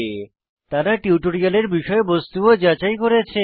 তারা টিউটোরিয়ালের বিষয়বস্তু ও যাচাই করেছে